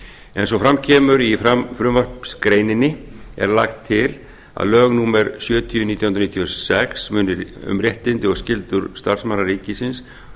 eins og fram kemur í frumvarpsgreininni er lagt til að lög númer sjötíu nítján hundruð níutíu og sex um réttindi og skyldur starfsmanna ríkisins